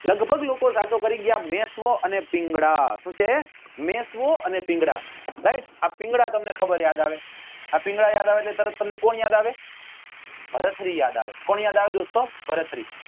લગભગ લોકો સાચો કરી ગયા મેશ્વો અને પિંગલા શું છે મેશ્વો અને પિંગલા right આ પિંગલા ખબર તમને યાદ આવે આ પિંગલા યાદ આવે એટલે તરત તમને કોણ યાદ આવે ભરત્રી કોણ યાદ આવે દોસ્તો ભરત્રી